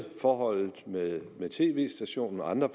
forholdet med tv stationen og andre